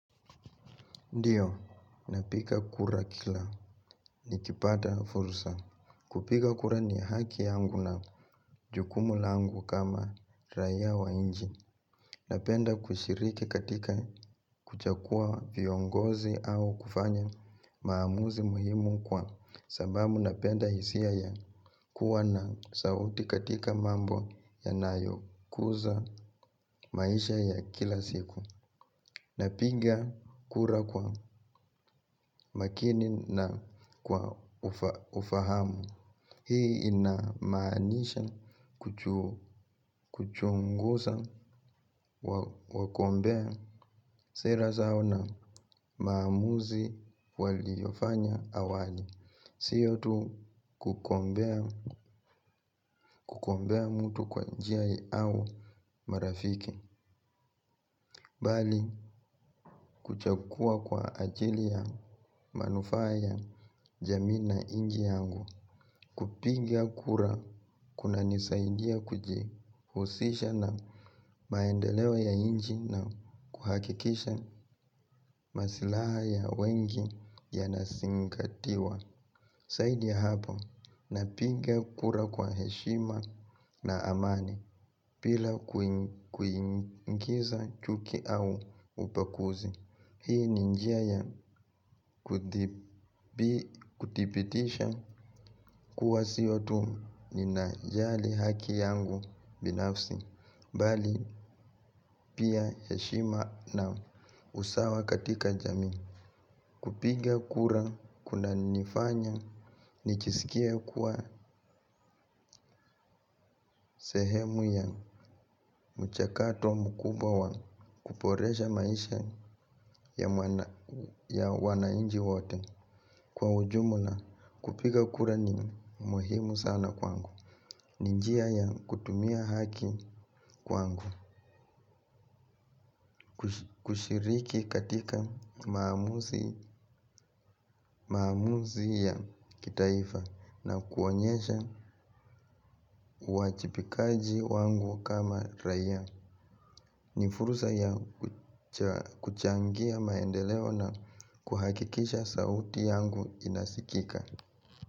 Ndiyo, napika kura kila ni kipata fursa. Kupika kura ni haki yangu na jukumu langu kama raiya wa inji. Napenda kushiriki katika kuchakua viongozi au kufanya maamuzi muhimu kwa sababu napenda hisia ya kuwa na sauti katika mambo yanayo kuza maisha ya kila siku. Napinga kura kwa makini na kwa ufahamu hii inamanisha kuchunguza wagombea sera zao na maamuzi waliofanya awali. Siyo tu kukombea mtu kwa njia au marafiki bali kuchakua kwa ajili ya manufaa ya jamii na inji yangu. Kupinga kura kuna nisaidia kujihusisha na maendelewo ya inji na kuhakikisha masilaha ya wengi ya nasingatiwa. Saidi ya hapo na pinga kura kwa heshima na amani pila kuingiza chuki au upakuzi. Hii ninjia ya kutipitisha kuwa sio tu ninajali haki yangu binafsi bali pia heshima na usawa katika jami. Kupiga kura kuna nifanya ni chisikie kuwa sehemu ya mchakato mkuba wa kuporesha maisha ya wanainji wote. Kwa ujumula kupiga kura ni muhimu sana kwangu. Nijia ya kutumia haki kwangu. Kushiriki katika maamuzi ya kitaifa na kuonyesha uachipikaji wangu kama raiya. Nifurusa ya kuchangia maendeleo na kuhakikisha sauti yangu inasikika.